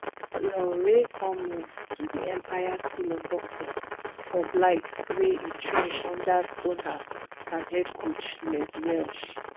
olaore come move to di empire school of boxing for blyth wia e train under stoneham and head coach les welsh